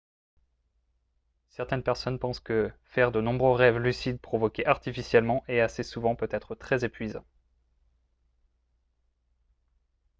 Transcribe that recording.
certaines personnes pensent que faire de nombreux rêves lucides provoqués artificiellement et assez souvent peut être très épuisant